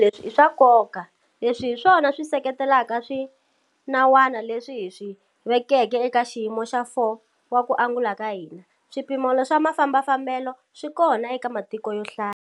Leswi i swa nkoka. Leswi hi swona swi seketelaka swinawana leswi hi swi vekeke eka xiyimo xa 4 xa ku angula ka hina. Swipimelo swa mafambafambelo swi kona eka matiko yo hlaya.